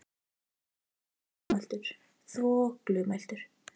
Hún heyrir að hann er dálítið þvoglumæltur.